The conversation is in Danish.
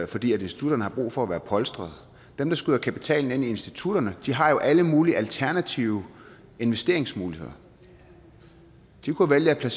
fordi institutterne har brug for at være polstret dem der skyder kapitalen ind i institutterne har jo alle mulige alternative investeringsmuligheder de kunne vælge